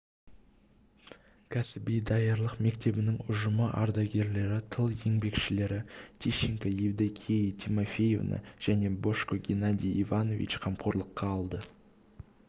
кәсіби даярлық мектебінің ұжымы ардагерлері тыл еңбекшілері тищенко евдокией тимофеевна және божко геннадий иванович қамқорлыққа алды